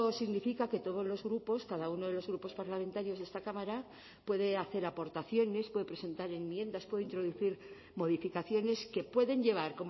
significa que todos los grupos cada uno de los grupos parlamentarios de esta cámara puede hacer aportaciones puede presentar enmiendas puede introducir modificaciones que pueden llevar